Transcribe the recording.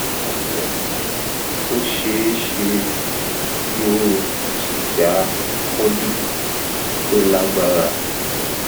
káàbọ ó ṣe é ṣe kí o jìyà colitis tó lágbára